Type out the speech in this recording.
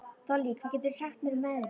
Þollý, hvað geturðu sagt mér um veðrið?